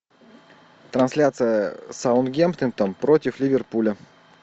трансляция саутгемптон против ливерпуля